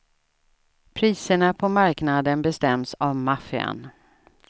Priserna på marknaden bestäms av maffian.